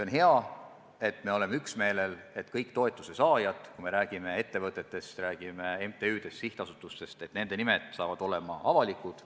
On hea, et me oleme üksmeelel, et kõik toetuse saajad – kui me räägime ettevõtetest, räägime MTÜ-dest, sihtasutustest – peavad olema teada, nende nimed saavad olema avalikud.